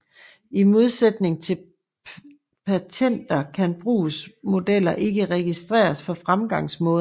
I modsætning til patenter kan brugsmodeller ikke registreres for fremgangsmåder